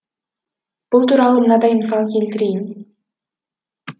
бұл туралы мынадай мысал келтірейін